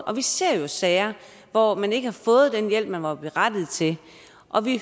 og vi ser jo sager hvor man ikke har fået den hjælp man var berettiget til og vi